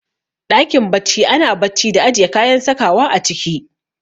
Ɗakin bacci ana bacci da ajiye kayan sakawa a ciki